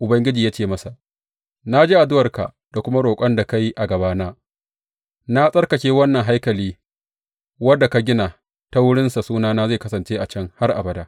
Ubangiji ya ce masa, Na ji addu’arka da kuma roƙon da ka yi a gabana; na tsarkake wannan haikali wanda ka gina, ta wurinsa Sunana zai kasance a can har abada.